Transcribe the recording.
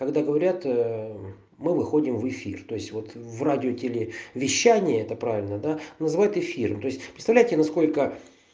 когда говорят мы выходим в эфир то есть вот в радио телевещание это правильно да называют эфиром то есть представляете насколько